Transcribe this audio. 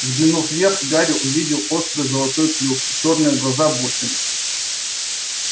взглянув вверх гарри увидел острый золотой клюв и чёрные глаза-бусины